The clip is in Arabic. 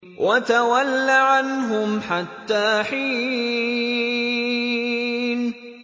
وَتَوَلَّ عَنْهُمْ حَتَّىٰ حِينٍ